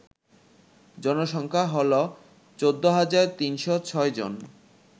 জনসংখ্যা হল ১৪৩০৬ জন